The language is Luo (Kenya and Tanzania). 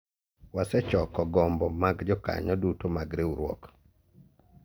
wasechoko gombo mag jokanyo duto mag riwruok